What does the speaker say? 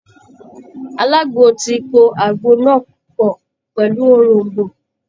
Alagbo ti po àgbo náà pọ̀ pẹ̀lú òroǹbó